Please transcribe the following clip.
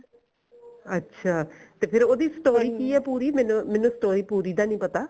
ਅੱਛਾ ਤੇ ਫ਼ੇਰ ਉਹਦੀ story ਕਿ ਐ ਪੂਰੀ ਮੈਨੂੰ story ਪੂਰੀ ਦਾ ਨੀ ਪਤਾ